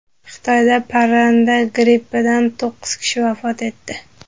Xitoyda parranda grippidan to‘qqiz kishi vafot etdi.